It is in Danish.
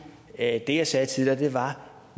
at det jeg sagde tidligere var at